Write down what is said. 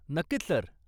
नक्कीच सर.